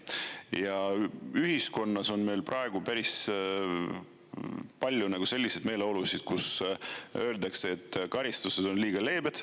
Ja ühiskonnas on meil praegu päris palju selliseid meeleolusid, kus öeldakse, et karistused on liiga leebed.